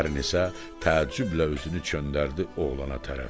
Pərini isə təəccüblə özünü göndərdi oğlana tərəf.